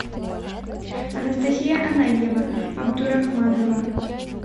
анастасия ананьева абдурахманова